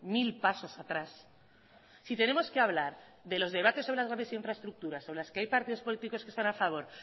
mil pasos atrás si tenemos que hablar de los debates sobre las grandes infraestructuras sobre las que hay partidos políticos que están a favor